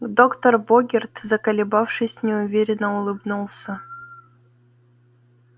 доктор богерт заколебавшись неуверенно улыбнулся